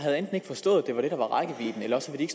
ikke forstået at det var det der var rækkevidden eller også vil